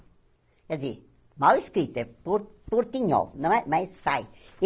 Quer dizer, mal escrito, é por portinhol, não é mas sai.